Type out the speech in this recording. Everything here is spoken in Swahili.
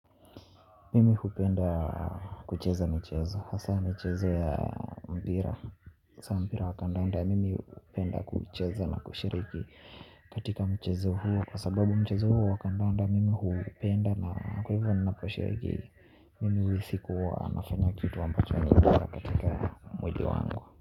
Mimi hupenda kucheza michezo hasa michezo ya mpira hasa mpira wa kandanda mimi hupenda kuucheza na kushiriki katika mchezo huo kwa sababu mchezo huo wa kandanda mimi huupenda na kwa hivyo ninaposhiriki mimi uhisi kuwa nafanya kitu ambacho ni kwa katika mwili wangu.